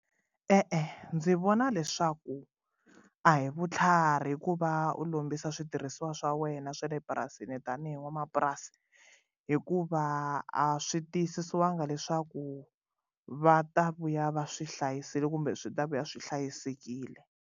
E-e ndzi vona leswaku a hi vutlhari ku va u lombisa switirhisiwa swa wena swa le purasini tanihi n'wamapurasi hikuva a swi tiyisisiwangi leswaku va ta vuya va swi hlayisile kumbe swi ta vuya swi hlayisekile.